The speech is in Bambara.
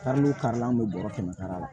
Kari n'o kari la an bɛ bɔrɔ kɛmɛ sara la